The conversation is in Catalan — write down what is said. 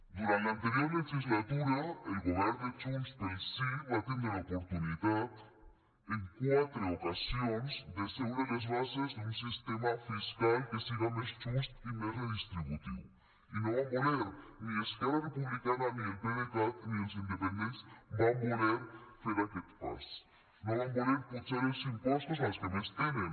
durant l’anterior legislatura el govern de junts pel sí va tindre l’oportunitat en quatre ocasions d’asseure les bases d’un sistema fiscal que siga més just i més redistributiu i no van voler ni esquerra republicana ni el pdecat ni els independents van voler fer aquest pas no van voler apujar els impostos als que més tenen